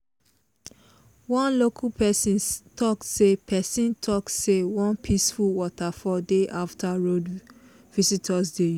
one local person talk say person talk say one peaceful waterfall dey after road visitors dey use.